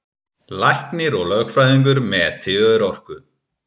Læknir og lögfræðingur meti örorku